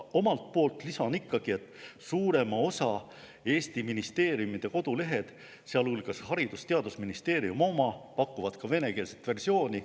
Omalt poolt lisan ikkagi, et suurema osa Eesti ministeeriumide kodulehed, sealhulgas Haridus‑ ja Teadusministeeriumi oma, pakuvad ka venekeelset versiooni.